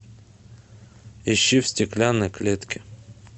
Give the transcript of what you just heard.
ищи в стеклянной клетке